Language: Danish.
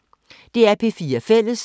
DR P4 Fælles